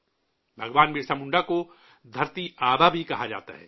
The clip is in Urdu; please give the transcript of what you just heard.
بھگوان برسا منڈا کو 'دھرتی آبا' بھی کہا جاتا ہے